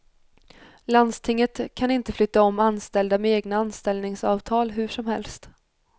Landstinget kan inte flytta om anställda med egna anställningsavtal hur som helst.